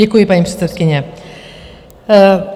Děkuji, paní předsedkyně.